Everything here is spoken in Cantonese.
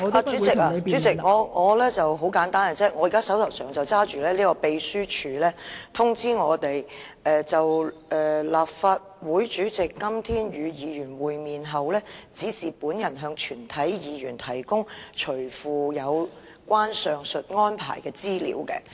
代理主席，很簡單，我現在手上有秘書處發給我們的通知，表示"就立法會主席今天與議員會面後，指示本人向全體議員提供隨附有關上述安排的資料"。